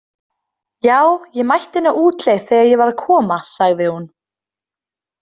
Já, ég mætti henni á útleið þegar ég var að koma, sagði hún.